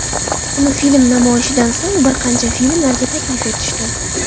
Uni film namoyishidan so‘ng bir qancha filmlarga taklif etishdi.